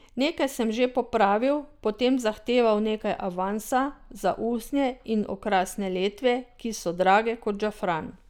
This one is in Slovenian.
Nekaj sem že popravil, potem zahteval nekaj avansa, za usnje in okrasne letve, ki so drage ko žafran.